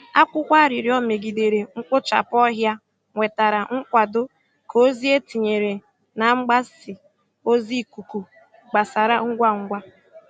Akwụkwọ arịrịọ megidere mkpochapụ ọhịa nwetara nkwado ka ozi e tinyere na mgbasa ozi ikuku gbasara ngwa ngwa.